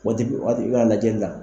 Waati waati i bɛna lajɛ